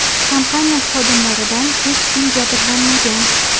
Kompaniya xodimlaridan hech kim jabrlanmagan.